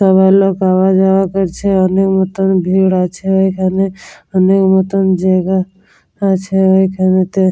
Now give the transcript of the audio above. কত লোক আওয়া যাওয়া করছে। অনেক মতন ভিড় আছে এখানে অনেক মতন জায়গা আছে এইখানেতে।